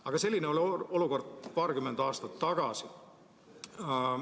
Aga selline oli olukord paarkümmend aastat tagasi.